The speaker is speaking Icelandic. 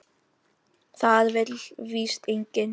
Það vill víst enginn.